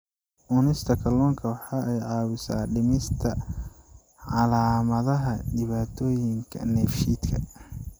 Cunista kalluunka waxa ay caawisaa dhimista calaamadaha dhibaatooyinka dheefshiidka.